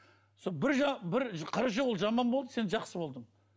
сол қырық жыл ол жаман болды сен жақсы болдың